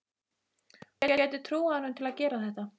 Hún gæti trúað honum til að gera þetta.